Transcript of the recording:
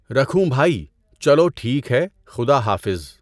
رکھوں بھائی؟ چلو ٹھیک ہے، خُدا حافظ۔